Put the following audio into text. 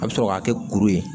A bɛ sɔrɔ k'a kɛ kuru ye